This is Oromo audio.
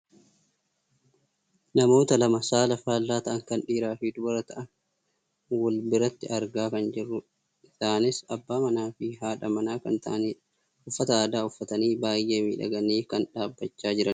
Namoota lama saala faallaa ta'an kan dhiiraa fi dubara ta'an wal biratti argaa kan jirrudha. Isaanis abbaa manaafi haadha manaa kan ta'anidha. Uffata aadaa uffatanii baayyee miidhaganii kan dhaabbachaa jiranidha.